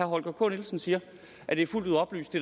holger k nielsen siger at det er fuldt ud oplyst